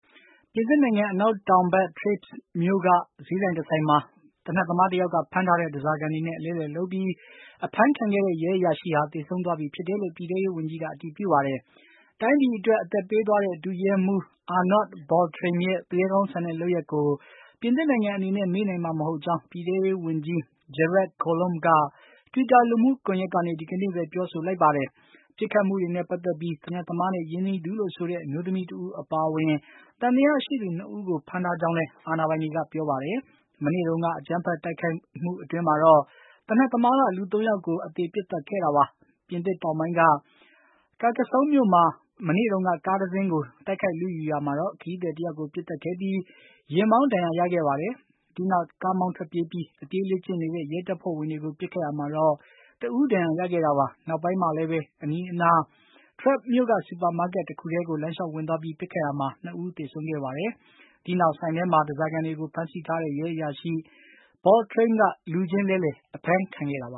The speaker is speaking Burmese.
ပြင်သစ်နိုင်ငံ အနောက်တောင်ဘက် Trebes မြို့က ဈေးဆိုင်တဆိုင်မှာ သေနတ်သမားတယောက်က ဖမ်းထားတဲ့ ဓားစာခံတွေနဲ့ အလဲအလှယ်လုပ်ပြီး အဖမ်းခံခဲ့တဲ့ ရဲအရာရှိဟာ သေဆုံးသွားပြီဖြစ်ကြောင်း ပြည်ထဲရေးဝန်ကြီးက အတည်ပြုလိုက်ပါတယ်။ တိုင်းပြည်အတွက် အသက်ပေးသွားတဲ့ ဒုရဲမှူး Arnaud Beltrame ရဲ့ သူရဲကောင်းဆန်တဲ့ ရဲစွမ်းသတ္တိကို ပြင်သစ်နိုင်ငံအနေနဲ့ မေ့နိုင်မှာ မဟုတ်ကြောင်း ပြည်ထဲရေးဝန်ကြီး Gerard Collomb က Twitter လူမှုကွန်ယက်ကနေ ဒီကနေ့ပဲ ပြောဆိုလိုက်တာပါ။ ပစ်ခတ်မှုတွေနဲ့ ပတ်သက်လို့ သေနတ်သမားနဲ့ ရင်းနှီးသူလို့ဆိုတဲ့ အမျိုးသမီးတဦး အပါအဝင် သံသယရှိသူ ၂ ဦးကို ဖမ်းဆီးထားကြောင်းလည်း အာဏာပိုင်တွေက ပြောပါတယ်။ မနေ့တုန်းက အကြမ်းဖက် တိုက်ခိုက်မှု အတွင်းမှာတော့ သေနတ်သမားက လူ ၃ ယောက်ကို အသေပစ်သတ်ခဲ့တာပါ။ ပြင်သစ်နိုင်ငံတောင်ပိုင်းက Carcassonne မြို့မှာ မနေ့တုန်းက ကားတစင်းကို တိုက်ခိုက်လုယူရာမှာတော့ ခရီးသည်တယောက်ကို ပစ်သတ်ခဲ့ပြီး၊ ယာဉ်မောင်း ဒဏ်ရာရခဲ့ပါတယ်။ ဒီနောက် ကားမောင်းထွက်ပြေးပြီး၊ အပြေးလေ့ကျင့်နေတဲ့ ရဲတပ်ဖွဲ့ဝင်တွေကို ပစ်ခတ်ခဲ့ရာမှာတော့ တဦးဒဏ်ရာရခဲ့တာပါ။ နောက်ပိုင်းမှာလည်း အနီးအနားက Trebes မြို့က Supermarket တခုတည်း လမ်းလျှောက်ဝင်သွားပြီး ပစ်ခတ်ရာမှာ ၂ ဦး သေဆုံးခဲ့ပါတယ်။ ဒီနောက် ဆိုင်ထဲမှာ ဓားစာခံတွေကို ဖမ်းဆီးထားတဲ့အတွက် ရဲအရာရှိ Beltrame က လူချင်းလဲလှယ် အဖမ်းခံခဲ့တာပါ။